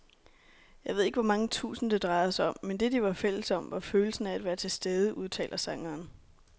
Jeg ved ikke hvor mange tusind, det drejede sig om, men det, de var fælles om, var følelsen af at være tilstede, udtaler sangeren.